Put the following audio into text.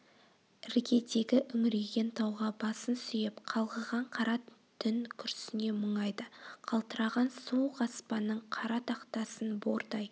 іргедегі үңірейген тауға басын сүйеп қалғыған қара түн күрсіне мұңайды қалтыраған суық аспанның қара тақтасын бордай